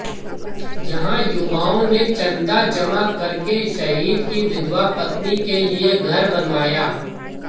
यहां युवाओं ने चंदा जमा करके शहीद की विधवा पत्नी के लिए घर बनवाया